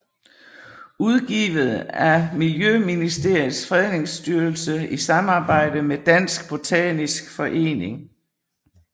Udgivet af Miljøministeriets Fredningsstyrelse i samarbejde med Dansk Botanisk Forening